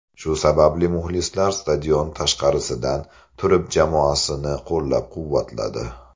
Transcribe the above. Shu sababli muxlislar stadion tashqarisidan turib jamoasini qo‘llab-quvvatladi.